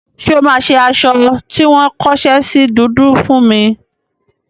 Ṣé o máa ṣe aṣọ tí wọ́n kóṣẹ́ sí dúdú fún mi?